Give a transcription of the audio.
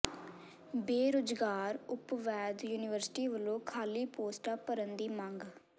ਬੇਰੁਜ਼ਗਾਰ ਉਪਵੈਦ ਯੂਨੀਅਨ ਵੱਲੋਂ ਖਾਲ੍ਹੀ ਪੋਸਟਾਂ ਭਰਨ ਦੀ ਮੰਗ